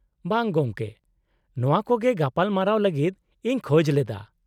-ᱵᱟᱝ ᱜᱚᱢᱠᱮ, ᱱᱚᱶᱟ ᱠᱚᱜᱮ ᱜᱟᱯᱟᱞᱢᱟᱨᱟᱣ ᱞᱟᱹᱜᱤᱫ ᱤᱧ ᱠᱷᱚᱡ ᱞᱮᱫᱟ ᱾